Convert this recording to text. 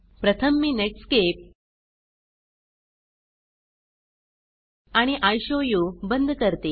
प्रथम मी नेटस्केप आणि इशोवू बंद करते